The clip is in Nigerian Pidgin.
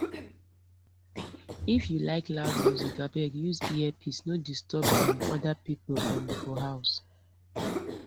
if you like loud music abeg use earpiece no disturb um other people um for house